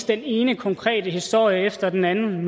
den ene konkrete historie efter den anden